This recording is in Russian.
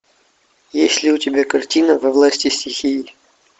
есть ли у тебя картина во власти стихии